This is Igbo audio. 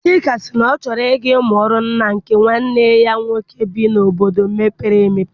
Chika sị na ọ chọrọ I ga mụọ ọrụ na nke nwanne ya nwoke bi n'obodo mepere emepe.